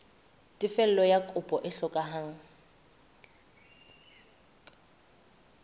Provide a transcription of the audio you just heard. tefello ya kopo e hlokehang